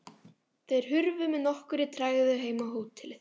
Þeir hurfu með nokkurri tregðu heim á hótelið.